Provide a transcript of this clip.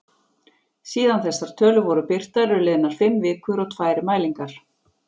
Síðan þessar tölur voru birtar eru liðnar fimm vikur og tvær mælingar.